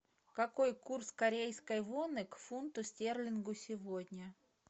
какой курс корейской воны к фунту стерлингу сегодня